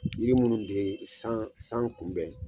Yiri minnu bɛ san san kunbɛn.